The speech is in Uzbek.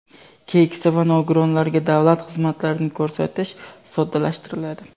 keksa va nogironlarga davlat xizmatlarini ko‘rsatish soddalashtiriladi.